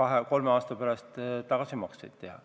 kahe-kolme aasta pärast tagasimakseid teha.